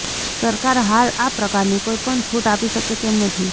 સરકાર હાલ આ પ્રકારની કોઇ પણ છુટ આપી શકે તેમ નથી